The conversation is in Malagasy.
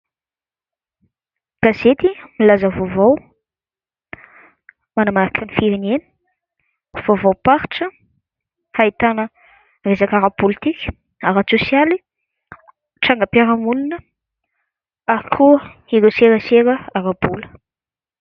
Gazety milaza vaovao, manamarika ny firenena, vaovaom-paritra ahitana resaka ara-pôlitika, ara-tsôsialy, trangam-piarahamonina ary koa ireo serasera ara-bola.